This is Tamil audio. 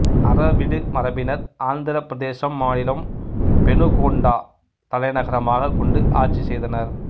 அரவிடு மரபினர் ஆந்திரப் பிரதேசம் மாநிலம் பெனுகொண்டா தலைநகரமாக கொண்டு ஆட்சி செய்தனர்